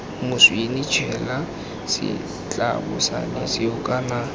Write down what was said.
moswinini tshela setlabošane seo kana